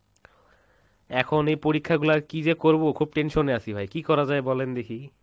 এখন এই পরীক্ষা গুলার কী যে করবো খুব tension এ আছি ভাই, কী করা যায় বলেন দেখি?